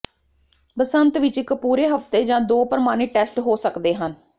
ਬਸੰਤ ਵਿਚ ਇਕ ਪੂਰੇ ਹਫ਼ਤੇ ਜਾਂ ਦੋ ਪ੍ਰਮਾਣਿਤ ਟੈਸਟ ਹੋ ਸਕਦੇ ਹਨ